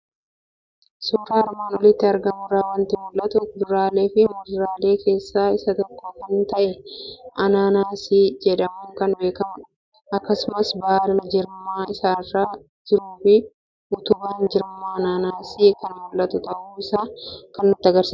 Suuraa armaan olitti argamu irraa waanti mul'atu; kuduraaleefi muduraalee keessaa isa tokko kan ta'e Anaanaasii jedhamuun kan beekamudha. Akkasumas baala jirma isaarra jirufi utubaan jirma anaanaasii kan mul'atu ta'uu isaa kan nutti agarsiisudha.